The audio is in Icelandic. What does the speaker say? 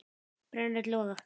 brenn öll loga